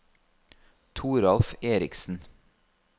Toralf Erichsen